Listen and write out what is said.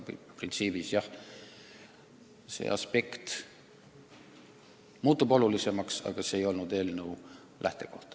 Printsiibis muutub nimetatud aspekt tõesti olulisemaks, aga see ei olnud selle eelnõu lähtekoht.